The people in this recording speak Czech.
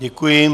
Děkuji.